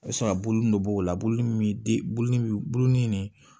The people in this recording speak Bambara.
O bɛ sɔrɔ ka bulu nin b'o la bulini bɛ de bulu bi buluni de